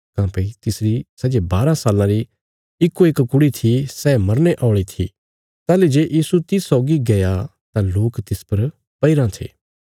काँह्भई तिसरी सै जे बाराँ साल्लां री इकोइक कुड़ी थी सै मरने औल़ी थी ताहली जे यीशु तिस सौगी गया तां लोक तिस पर पैईराँ थे